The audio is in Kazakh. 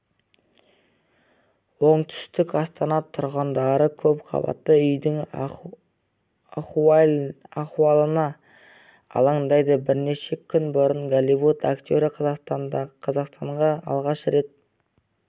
оңтүстік астана тұрғындары көп қабатты үйдің ахуалына алаңдайды бірнеше күн бұрын голливуд актері қазақстанға алғаш рет